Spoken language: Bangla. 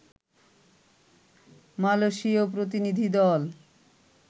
মালয়েশীয় প্রতিনিধি দল